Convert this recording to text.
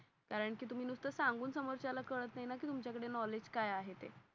कारण कि तुम्ही सुनत सांगून समोरच्या ला काळात नाय ना कि तुमच नॉलेज काय आहे ते.